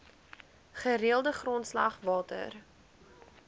gereelde grondslag water